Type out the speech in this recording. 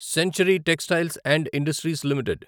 century textiles and industries limited